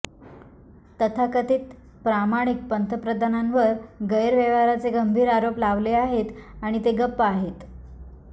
तथाकथित प्रामाणिक पंतप्रधानांवर गैरव्यवहाराचे गंभीर आरोप लावले आहेत आणि ते गप्प आहेत